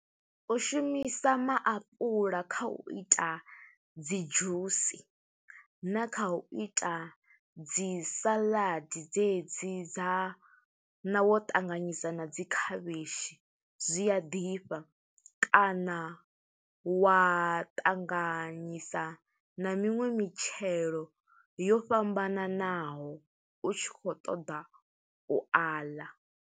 U shumisa maapula kha u ita dzi dzhusi, na kha u ita dzi salaḓi dze dzi dza, na wo ṱanganyisa na dzi khavhishi. Zwi a ḓifha, kana wa ṱanganyisa na miṅwe mitshelo yo fhambananaho, u tshi khou ṱoḓa u a ḽa.